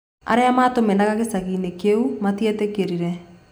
Arĩa maatũmenaga gĩcagi-inĩ kĩu matietĩkirie.